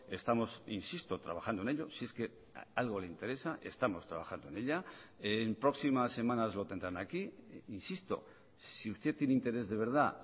estamos insisto trabajando en ello si es que algo le interesa estamos trabajando en ella en próximas semanas lo tendrán aquí insisto si usted tiene interés de verdad